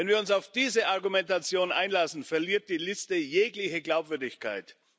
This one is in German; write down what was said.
Wenn wir uns auf diese Argumentation einlassen, verliert die Liste jegliche Glaubwürdigkeit.